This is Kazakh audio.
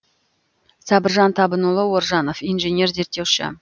сабыржан табынұлы оржанов инженер зерттеуші